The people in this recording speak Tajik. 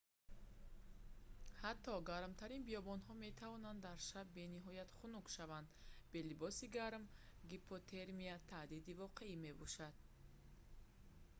ҳатто гармтарин биёбонҳо метавонанд дар шаб бениҳоят хунук шаванд бе либоси гарм гипотермия таҳдиди воқеӣ мебошад